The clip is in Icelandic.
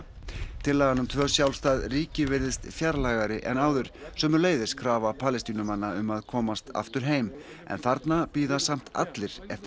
tillagan um tvö sjálfstæð ríki virðist fjarlægari en áður sömuleiðis krafa Palestínumanna um að komast aftur heim en þarna bíða samt allir eftir